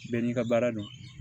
Bɛɛ n'i ka baara don